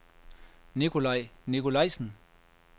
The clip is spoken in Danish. Nikolaj Nicolaisen